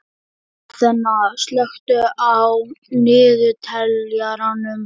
Aþena, slökktu á niðurteljaranum.